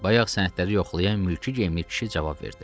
Bayaq sənədləri yoxlayan mülki geyimli kişi cavab verdi.